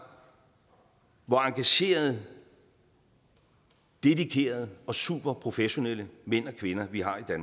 hvor engagerede dedikerede og superprofessionelle mænd og kvinder vi har i